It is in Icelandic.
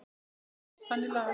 Þannig lagað.